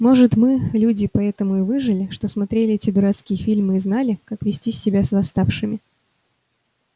может мы люди поэтому и выжили что смотрели эти дурацкие фильмы и знали как вести себя с восставшими